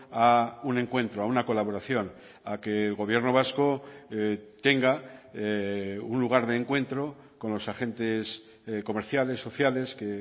a un encuentro a una colaboración a que el gobierno vasco tenga un lugar de encuentro con los agentes comerciales sociales que